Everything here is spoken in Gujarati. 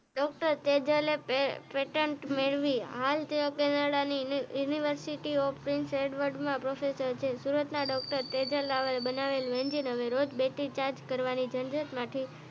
ડોક્ટર સેજલે પેટેન્ટ મેળવી અને હાલ તેઓકેનેડા યુનિવર્સીટી ઓફ ઓક્ષફર્ડ માં પ્રોફેસર છે સુરત ના ડોક્ટર સેજલે રાવલે બનાવેલુ એન્જીન રોજ બેટરી ચાર્જ કરવાની જંજટ માંથી